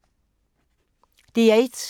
DR1